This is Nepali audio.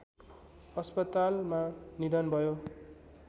अस्पतालमा निधन भयो